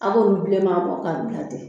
Aw b'olu bilenman bɔ ka bila ten